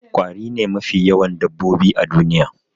Ƙwari ne mafi yawan dabbobi a duniya